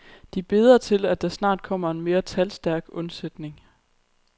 De beder til, at der snart kommer en mere talstærk undsætning.